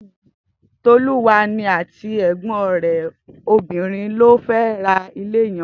Toluwani àtí ègbòn rè óbirìn ló fè rà ilé yèn